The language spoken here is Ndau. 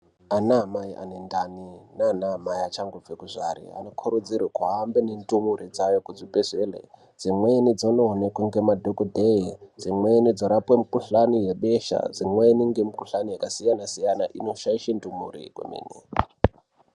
Ana amai anendani nana amai vachangobve kuzvare vanokurudzirwe kuhambe nendumure dzayo kuzvibhedhlere. Dzimweni dzinooneke nemadhogodheye dzimweni dzorapwe mikuhlani yebesha dzimweni ngemikuhlani yakasiyana-siyana, inoshaishe ndumure kwemene.